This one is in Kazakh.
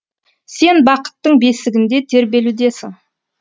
сен бақыттың бесігінде тербелудесің